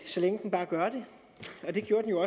så længe den bare gør det det gjorde den jo